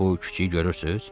Bu kiçi görürsüz?